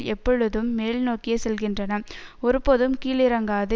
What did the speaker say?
எப்பொழுதும் மேல் நோக்கியே செல்கின்றன ஒருபோதும் கீழிறங்காது